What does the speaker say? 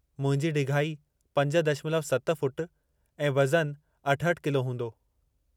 मुंहिंजी ढिघाई पंज दशमलव सत फ़ुट ऐं वज़नु अठहठि किलो हूंदो।